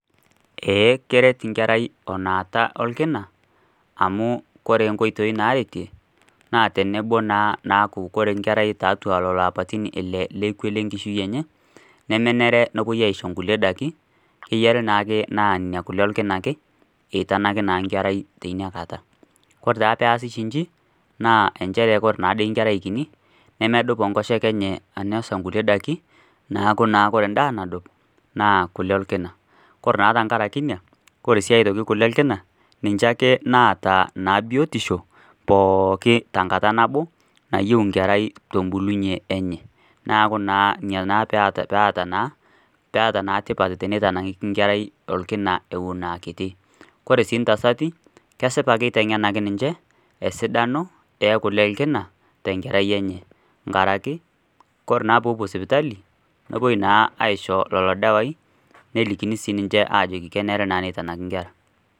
Keret enkerai enata orkina amu ore enkerai tiatua leloapaitin ele lekwe lenkishui enye nemenare nishori enkulie daiki kenare naa kule ake orkina eishori enkerai teina kata ore oshi eji naa ore enkerai ore enkoshoke enye nemedup ainosa kulie daiki kule orkina ake ore tenkaraki ena ore sii aitoki kule orkina niche ake naata biotisho pookin tenkata nabo nayieu enkerai neeku ena pee etaa tipat pee eitanaki enkera Eton akitii ore entasati kesipa eitengenaki esidano oo kule orkina too Nkera enye nkaraki ore naa pee epuo sipitali nepuoi naa aishoo lelo dawai nelikini Ajo kenare naa nitanaki enkera